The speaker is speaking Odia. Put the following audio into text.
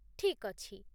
ଠିକ୍ ଅଛି